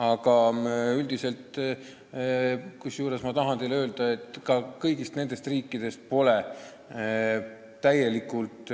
Aga ma tahan teile öelda, et kõigi nende riikide elanike puhul pole tegu täielikult